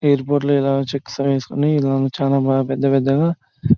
airport లో ఇలా checks వేసుకొని చాలా పెద్ద పెద్దగ --